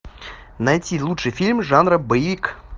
найти лучший фильм жанра боевик